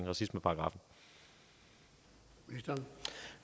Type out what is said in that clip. racismeparagraffen og som